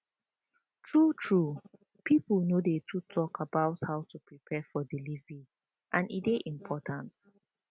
true true people no dey too talk about how to prepare for delivery and e dey important